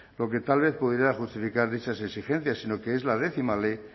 lo que tal vez pudiera justificar dichas exigencias sino que es la décima